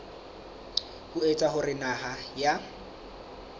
ho etsa hore naha ya